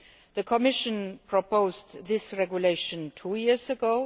The Commission proposed this regulation two years ago.